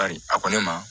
Bari a ko ne ma